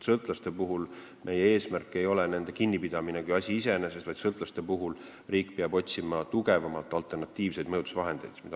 Sõltlaste puhul ei ole meie eesmärk nende kinnipidamine kui asi iseeneses, sõltlaste jaoks peab riik otsima tugevamaid alternatiivseid mõjutusvahendeid.